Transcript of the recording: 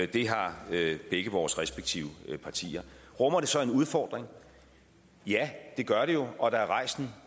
det har begge vores respektive partier rummer det så en udfordring ja det gør det jo og der er rejst en